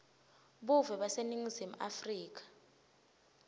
buve baseningizimu afrika